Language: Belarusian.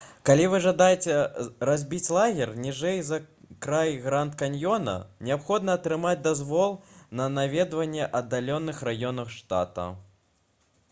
калі вы жадаеце разбіць лагер ніжэй за край гранд-каньёна неабходна атрымаць дазвол на наведванне аддаленых раёнаў штата